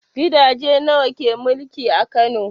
Gidaje nawa ke mulki a Kano?